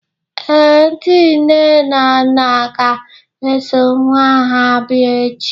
ee, ndị nne na nna ga-eso nwa ha bịa echi